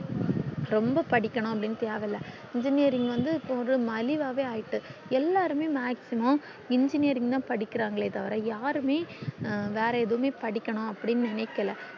ரொம்ப படிக்கணும் அப்டின்னு தேவயில்ல engineering வந்து இப்போ மலிவாயே ஆய்ட்டு எல்லாருமே maximum engineering தான் படிகிறாங்களே தவிர யாருமே வேற எதுமே படிக்கணும் அப்டின்னு நெனைகிள்ள